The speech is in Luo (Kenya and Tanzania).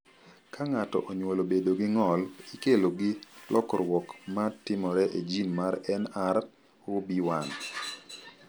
Ka ng’ato onyuolo bedo gi ng’ol, ikelo gi lokruok ma timore e jin mar NR0B1.